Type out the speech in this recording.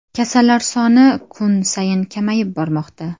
Kasallar soni kun sayin kamayib bormoqda.